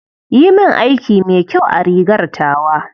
Yi min aiki mai kyau a rigar tawa.